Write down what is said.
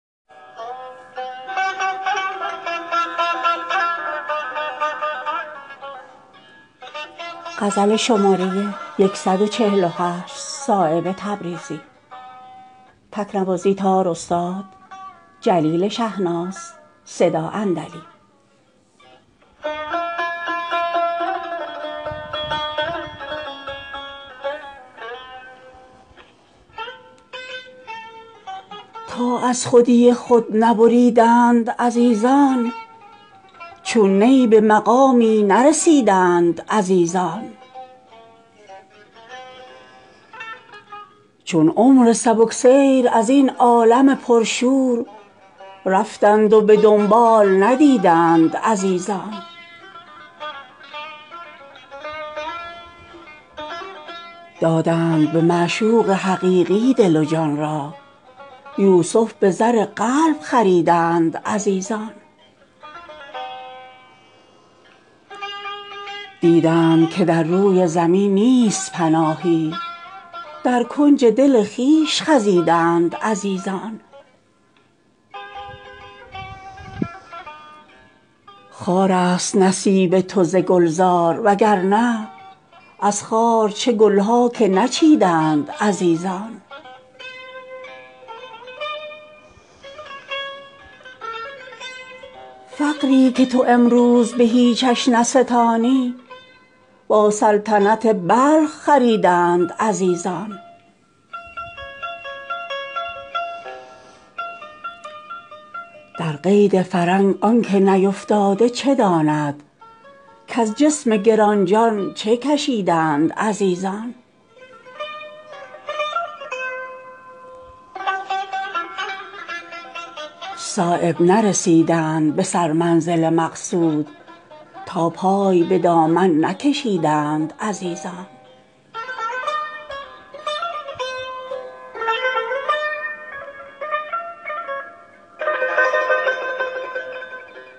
تا از خودی خود نبریدند عزیزان چون نی به مقامی نرسیدند عزیزان چون عمر سبکسیر ازین عالم پرشور رفتند و به دنبال ندیدند عزیزان دادند به معشوق حقیقی دل و جان را یوسف به زر قلب خریدند عزیزان دیدند که در روی زمین نیست پناهی در کنج دل خویش خزیدند عزیزان تا قطره خود گوهر شهوار نمودند از بحر چه تلخی نکشیدند عزیزان تا آب نمودند دل خویش چو شبنم در چشمه خورشید رسیدند عزیزان خارست نصیب تو ز گلزار وگرنه از خار چه گلها که نچیدند عزیزان فقری که تو امروز به هیچش نستانی با سلطنت بلخ خریدند عزیزان در قید فرنگ آن که نیفتاده چه داند کز جسم گرانجان چه کشیدند عزیزان کردند به اکسیر رضا شهد مصفا تلخی اگر از خلق شنیدند عزیزان نظارگیان تو ز کونین بریدند از یوسف اگر دست بریدند عزیزان صایب نرسیدند به سر منزل مقصود تا پای به دامن نکشیدند عزیزان